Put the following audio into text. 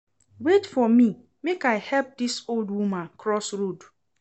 Wait for me, make I help dis old woman cross road